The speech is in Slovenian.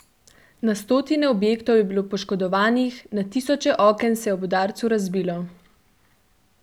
Na stotine objektov je bilo poškodovanih, na tisoče oken se je ob udarcu razbilo.